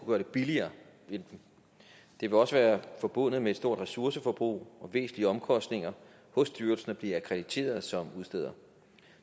gøre det billigere det ville også være forbundet med et stort ressourceforbrug og væsentlige omkostninger hos styrelsen at blive akkrediteret som udsteder